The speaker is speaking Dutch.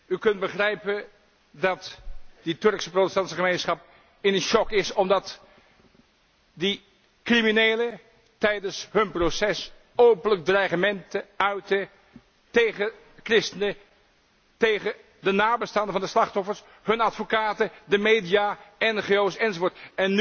U kunt begrijpen dat die Turkse protestantse gemeenschap in shock is omdat die criminelen tijdens hun proces openlijk dreigementen uitten tegen christenen, tegen de nabestaanden van de slachtoffers, hun advocaten, de media, ngo's, enzovoort.